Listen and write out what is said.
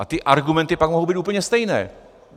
A ty argumenty pak mohou být úplně stejné.